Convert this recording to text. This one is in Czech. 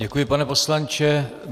Děkuji, pane poslanče.